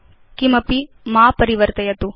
किमपि मा परिवर्तयतु